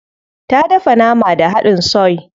Ta dafa nama da hadin soy.